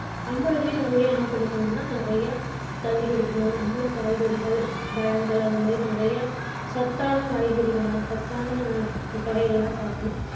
நம்மளுமே என்ன பண்ணிக்கணுன்னா நிறைய தண்ணி குடிக்கணும். நம்மளும் காய்கறிகள், பழங்கள் அது மாதிரி நிறைய சத்தான காய்கறிகளா சத்தான வகைகளா சாப்பிடணும்